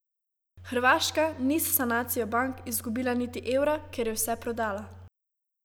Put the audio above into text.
Hrvaška ni s sanacijo bank izgubila niti evra, ker je vse prodala.